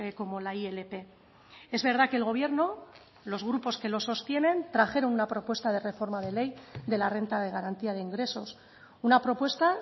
como la ilp es verdad que el gobierno los grupos que lo sostienen trajeron una propuesta de reforma de ley de la renta de garantía de ingresos una propuesta